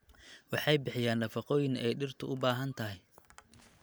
Waxay bixiyaan nafaqooyin ay dhirtu u baahan tahay.